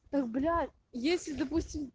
так блять если допустим